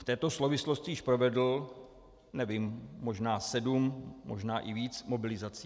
V této souvislosti již provedl, nevím, možná sedm, možná i víc mobilizací.